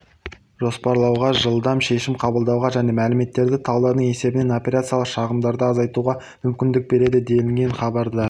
жоспарлауға жылдам шешім қабылдауға және мәліметтерді талдаудың есебінен операциялық шығындарды азайтуға мүмкіндік береді делінген хабарда